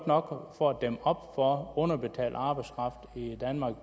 nok for at dæmme op for underbetalt arbejdskraft i danmark